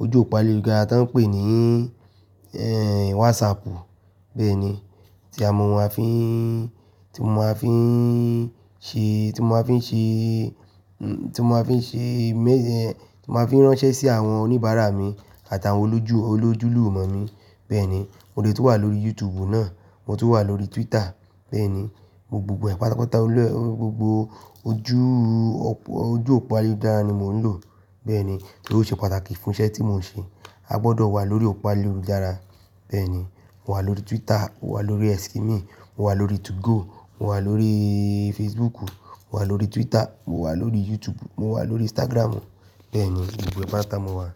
ojú òpó ayélujára tó ń pè ní, ẹ́, WhatsAppu. Bẹ́ẹ̀ni, tí a mọ, máa fi ń, tí mo máa fi ń ṣe, tí mo máa fi ń ṣe, tí mo máa fi ń ṣe, tí mo máa fi ránṣẹ́ sí àwọn oníbàárà mi àtàwọn olójú olójulúmọ̀ mi. Bẹ́ẹ̀ni, mo lè tún wà lórí YouTube náà, mo tún wà lórí Twitter. Bẹ́ẹ̀ni, mo gbogbo ẹ̀pàtàpàtà olú, gbogbo ojú òpó, ojú òpó ayélujára ni mò ń lò. Bẹ́ẹ̀ni, torí ó ṣe pàtàkì fún iṣẹ́ tí mò ń ṣe. A gbọdọ wà lórí òpó ayélujára. Bẹ́ẹ̀ni, mo wà lórí Twitter, mo wà lórí Xkimi, mo wà lórí 2go, mo wà lórí Facebooku, mo wà lórí Twitter, mo wà lórí YouTube, mo wà lórí Instagramu. Bẹ́ẹ̀ni, gbogbo ẹ̀pàtàpàtà mo wà.